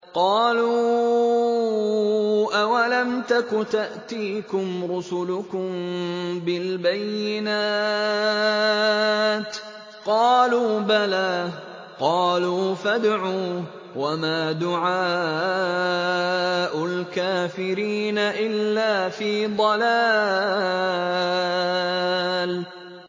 قَالُوا أَوَلَمْ تَكُ تَأْتِيكُمْ رُسُلُكُم بِالْبَيِّنَاتِ ۖ قَالُوا بَلَىٰ ۚ قَالُوا فَادْعُوا ۗ وَمَا دُعَاءُ الْكَافِرِينَ إِلَّا فِي ضَلَالٍ